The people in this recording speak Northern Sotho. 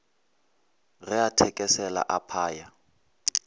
ge a thekesela a phaya